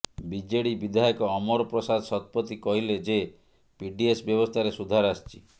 BJD ବିଧାୟକ ଅମର ପ୍ରସାଦ ଶତପଥୀ କହିଲେ ଯେ ପିଡିଏସ୍ ବ୍ୟବସ୍ଥାରେ ସୁଧାର ଆସିଛି